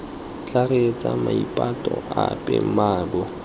tla reetsa maipato ape mmaabo